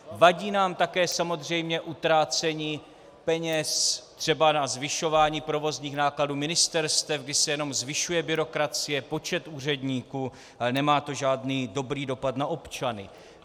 Vadí nám také samozřejmě utrácení peněz třeba na zvyšování provozních nákladů ministerstev, kdy se jenom zvyšuje byrokracie, počet úředníků, ale nemá to žádný dobrý dopad na občany.